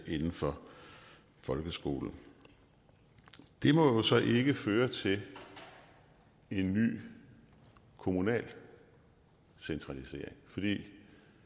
inden for folkeskolen det må jo så ikke føre til en ny kommunal centralisering for det